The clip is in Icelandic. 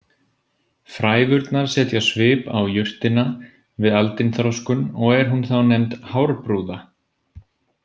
Frævurnar setja svip á jurtina við aldinþroskun og er hún þá nefnd hárbrúða.